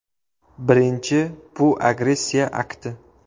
Birinchi bu agressiya akti.